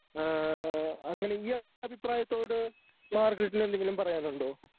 ഏഹ് അങ്ങനെ ഈ അഭിപ്രായത്തോട് മാർഗരറ്റിന് എന്തെങ്കിലും പറയാനുണ്ടോ?